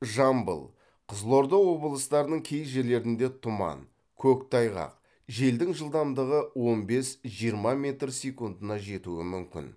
жамбыл қызылорда облыстарының кей жерлерінде тұман көктайғақ желдің жылдамдығы он бес жиырма метр секундына жетуі мүмкін